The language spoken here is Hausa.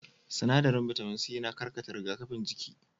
Sinaɗarin bitamin c yana karkata rigakafin jikin